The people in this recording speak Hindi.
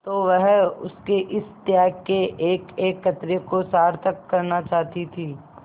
तो वह उसके इस त्याग के एकएक कतरे को सार्थक करना चाहती थी